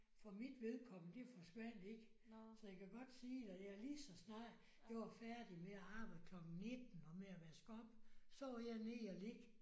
For mit vedkommende det forsvandt ikke. Så jeg kan godt sige dig ja lige så snart jeg var færdig med at arbejde klokken 19 og med at vaske op så var jeg nede og ligge